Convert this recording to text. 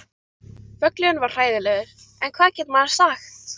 Völlurinn var hræðilegur en hvað getur maður sagt?